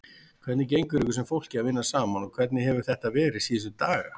Hvernig gengur ykkur sem fólki að vinna saman og hvernig hefur þetta verið síðustu daga?